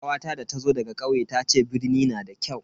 kawata da ta zo daga kauye tace birni na da kyau.